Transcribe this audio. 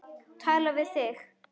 Tala við þig.